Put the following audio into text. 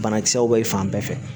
Banakisɛw bɛ fan bɛɛ fɛ